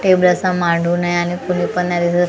table असा मांडून आहे आणि कुणी पण नाही दिसत फक्त ते--